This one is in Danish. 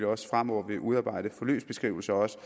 også fremover vil udarbejde forløbsbeskrivelser også